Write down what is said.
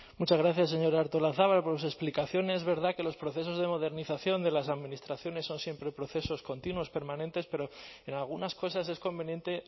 muchas gracias señora artolazabal por su explicación es verdad que los procesos de modernización de las administraciones son siempre procesos continuos permanentes pero en algunas cosas es conveniente